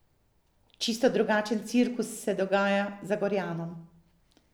Čisto drugačen cirkus se dogaja Zagorjanom.